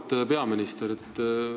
Auväärt peaminister!